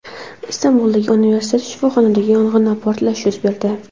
Istanbuldagi universitet shifoxonasida yong‘in va portlash yuz berdi.